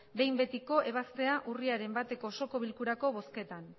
behin betiko ebaztea urriaren bateko osoko bilkurako bozketan